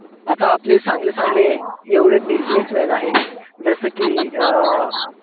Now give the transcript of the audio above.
आता आपले चांगले चांगले एवढे bussinessman आहे. जसं कि अं